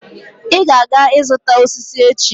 I ga-aga izuta osiso echi